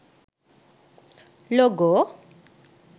logo